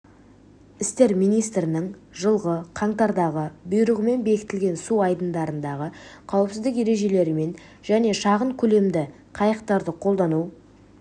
істер министрінің жылғы қаңтардағы бұйрығымен бекітілген су айдындарындағы қауіпсіздік ережелерімен және шағын көлемді қайқтарды қолдану